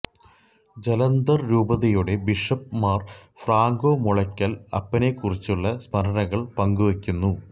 ജലന്തർ രൂപതയുടെ bishop Mar Franco Mulakkal അപ്പനെക്കുറിച്ചുള്ള സ്മരണകൾ പങ്കുവയ്ക്കുന്നു